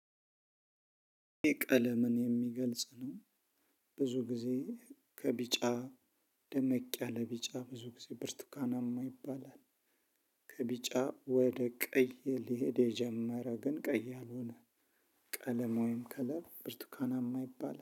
ቀለምን የሚገልጽ ነው። ብዙ ጊዜ ከቢጫ ደመቅ ያለ ቢጫ ብዙ ጊዜ ብርቱካናማ ይባላል። ከቢጫ ወደ ቀይ ሊሄድ የጀመረ ግን ቀይ ያለሆነ። ቀለም ወይም ከለር ብርቱካና ይባላል